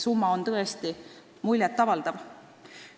Summa on tõesti muljet avaldav.